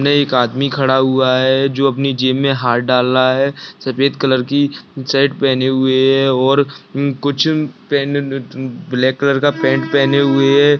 ने एक आदमी खड़ा हुआ है जो अपनी जेब में हाथ डाल रहा है सफ़ेद कलर की शर्ट पेहने हुए है और कुछ ब्लैक कलर का पैंट पहने हुए है।